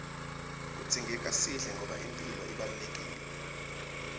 kudzingeka sidle ngoba imphilo ibalulekile